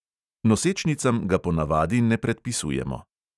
Nosečnicam ga ponavadi ne predpisujemo.